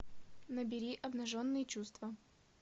набери обнаженные чувства